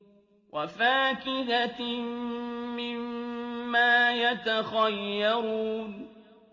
وَفَاكِهَةٍ مِّمَّا يَتَخَيَّرُونَ